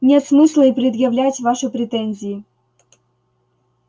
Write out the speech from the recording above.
нет смысла и предъявлять ваши претензии